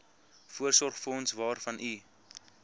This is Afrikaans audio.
voorsorgsfonds waarvan u